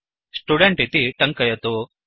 student इति टङ्कयतु